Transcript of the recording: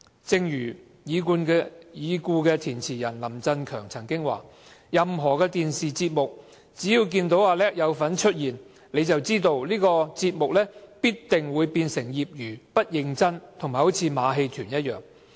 正如已故填詞人林振強曾說："任何電視節目只要見到'阿叻'有份出現，你就知道這個節目必定會變成業餘、不認真和像馬戲團一樣。